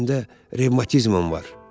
Çiyinimdə revmatizmam var.